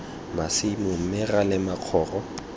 masimo mme ra lema korong